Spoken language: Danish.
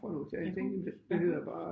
Æ hus æ hus